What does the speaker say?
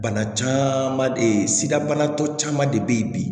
Bana caman de sida banatɔ caman de bɛ yen bi